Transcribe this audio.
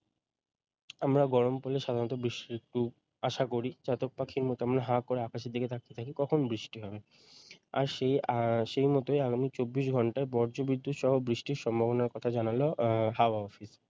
আমরা গরম পড়লে সাধারণত বৃষ্টির একটু আশা করি চাতক পাখির মতো আমরা হাঁ করে আকাশের দিকে তাকিয়ে থাকি কখন বৃষ্টি হবে আর সেই আর সেই মতই আগামী চব্বিশ ঘণ্টায় বজ্রবিদ্যুৎ সহ বৃষ্টির সম্ভাবনার কথা জানাল উম হাওয়া office